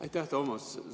Aitäh, Toomas!